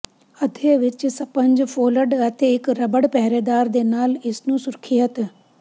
ਅੱਧੇ ਵਿਚ sponge fold ਅਤੇ ਇੱਕ ਰਬੜ ਪਹਿਰੇਦਾਰ ਦੇ ਨਾਲ ਇਸ ਨੂੰ ਸੁਰੱਖਿਅਤ